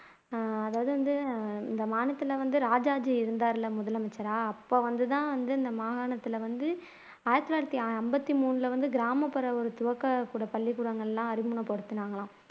ஆஹ் அதாவது வந்து இந்த மாநிலத்துல வந்து ராஜாஜி இருந்தாருல்ல முதலமைச்சரா அப்போ வந்துதான் இந்த மாகாணத்துல வந்து ஆயிரத்தி தொள்ளாயிரத்து ஐம்பத்து மூணுல வந்து கிராமப்புற துவக்க கூட பள்ளிக்கூடங்கள் எல்லாம் அறிமுகப்படுத்துனாங்கலாம்